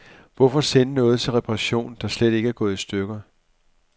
Hvorfor sende noget til reparation, der slet ikke er gået i stykker.